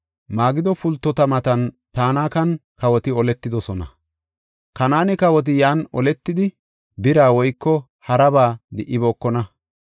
Magido pultota matan Tanakan, kawoti oletidosona. Kanaane kawoti yan oletidi, bira woyko haraba di77ibookona.